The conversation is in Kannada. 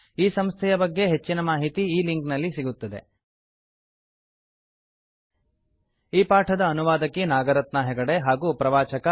ಈ ಸಂಸ್ಥೆಯ ಬಗ್ಗೆ ಹೆಚ್ಚಿನ ಮಾಹಿತಿ ಈ ಲಿಂಕ್ ನಲ್ಲಿ ಸಿಗುತ್ತದೆ httpspoken tutorialorgNMEICT Intro ಈ ಪಾಠದ ಅನುವಾದಕಿ ನಾಗರತ್ನಾ ಹೆಗಡೆ ಹಾಗೂ ಪ್ರವಾಚಕ ಐ